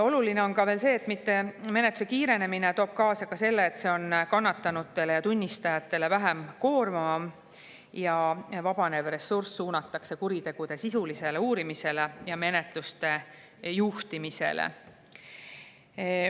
Oluline on veel see, et menetluse kiirenemine toob kaasa selle, et see on kannatanutele ja tunnistajatele vähem koormav ja vabanevat ressurssi suunata kuritegude sisulisele uurimisele ja menetluse juhtimisele.